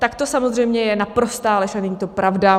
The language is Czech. Tak to samozřejmě je naprostá lež a není to pravda.